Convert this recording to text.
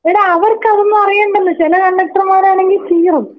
എടാ അവർക്ക് അതൊന്നും അറിയണ്ടെന്ന്. ചില കണ്ടക്ടർമാരാണെങ്കിൽ ചീറും.